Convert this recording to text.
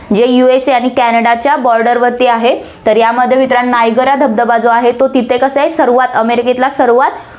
जे USA आणि कॅनडाच्या border वरती आहे, तर यामध्ये मित्रांनो, नायगरा धबधबा जो आहे, तो तिथे कसा आहे, सर्वात अमेरिकेतला सर्वात